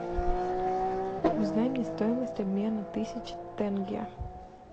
узнай мне стоимость обмена тысячи тенге